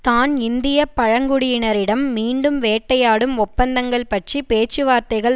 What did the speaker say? தான் இந்திய பழங்குடியினரிடம் மீண்டும் வேட்டையாடும் ஒப்பந்தங்கள் பற்றி பேச்சுவார்த்தைகள்